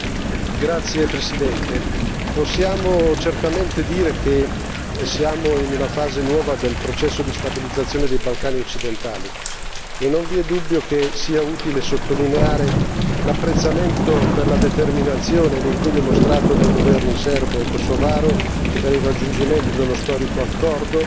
Signor Presidente, onorevoli colleghi, possiamo certamente dire che siamo in una fase nuova del processo di stabilizzazione dei Balcani occidentali e non vi è dubbio che sia utile sottolineare l'apprezzamento per la determinazione e l'impegno mostrato dai governi serbo e kosovaro per il raggiungimento dello storico accordo